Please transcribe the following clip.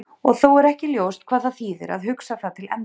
og þó er ekki ljóst hvað það þýðir að hugsa það til enda